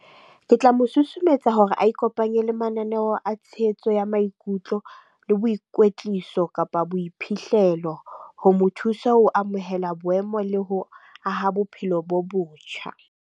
Ke tla mo susumetsa hore a ikopanye le mananeo a tshehetso ya maikutlo le boikwetliso, kapa boiphihlelo ho mo thusa ho amohela boemo le ho aha bophelo bo botjha.